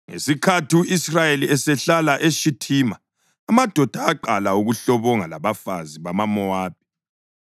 Ngesikhathi u-Israyeli esehlala eShithima, amadoda aqala ukuhlobonga labafazi bamaMowabi,